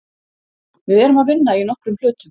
Við erum að vinna í nokkrum hlutum.